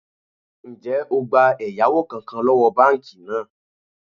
Ńjẹ́ ó gbà ẹ̀yáwó kánkán lọ́wọ́ báànkì náà?